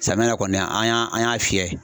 Samiya na kɔni an y'a an y'a fiyɛ